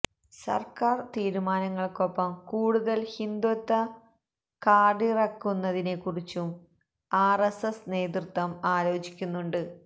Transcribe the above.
സര്ക്കാര് തീരുമാനങ്ങള്ക്കൊപ്പം കൂടുതല് ഹിന്ദുത്വ കാര്ഡിറക്കുന്നതിനെക്കുറിച്ചും ആര് എസ് എസ് നേതൃത്വം ആലോചിക്കുന്നുണ്ട്